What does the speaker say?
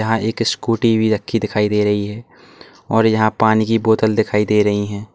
यहां एक स्कूटी भी रखी दिखाई दे रही है और यहां पानी की बोतल दिखाई दे रही हैं।